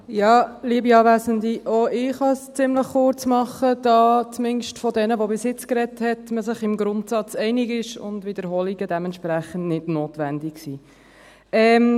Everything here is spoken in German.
Auch ich kann es ziemlich kurz machen, da man sich im Grundsatz einig ist – zumindest unter jenen, die bis jetzt gesprochen haben – und Wiederholungen dementsprechend nicht notwendig sind.